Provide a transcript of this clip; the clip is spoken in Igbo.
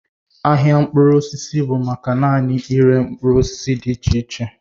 Ahịa mkpụrụ osisi bụ maka naanị ịre mkpụrụ osisi dị iche iche